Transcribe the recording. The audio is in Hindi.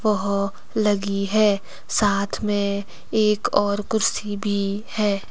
वह लगी है। साथ में एक और कुर्सी भी है।